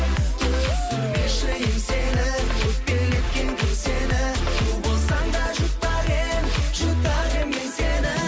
түсірмеші еңсені өкпелеткен кім сені у болсаң да жұтар едім жұтар едім мен сені